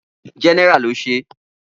General lo ṣe.